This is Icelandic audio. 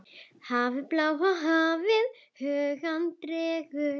Hafið, bláa hafið, hugann dregur.